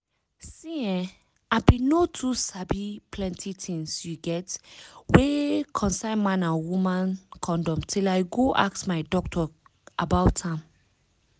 see[um]i bin no too sabi plenty tins you get wey concern man and woman condom till i go ask my doctor about am